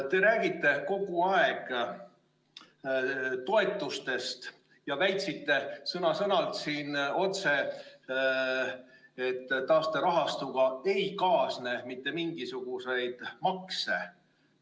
Te räägite kogu aeg toetustest ja väitsite siin sõna-sõnalt, et taasterahastuga ei kaasne mitte mingisuguseid makse.